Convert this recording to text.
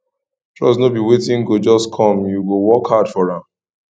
trust no be wetin go just come you go work hard for am